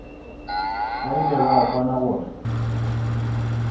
ba ile ba kwana gore